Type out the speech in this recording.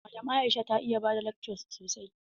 Madam Aisha ta iya bada lakca sosai.